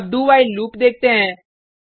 अब do while loop देखते हैं